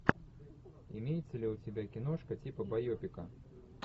имеется ли у тебя киношка типа байопика